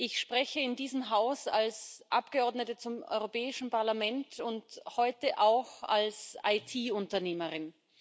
Ich spreche in diesem Haus als Abgeordnete zum Europäischen Parlament und heute auch als IT Unternehmerin.